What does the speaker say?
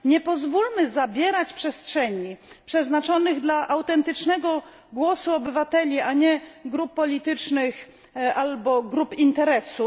Nie pozwólmy zabierać przestrzeni przeznaczonych dla autentycznego głosu obywateli, a nie dla grup politycznych lub grup interesów.